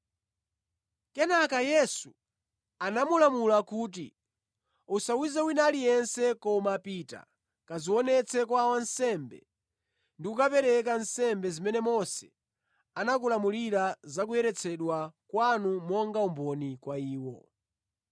Kenaka Yesu anamulamula kuti, “Usawuze wina aliyense, koma pita, kadzionetse kwa wansembe ndi kukapereka nsembe zimene Mose anakulamulirani za kuyeretsedwa kwanu monga umboni kwa iwo.”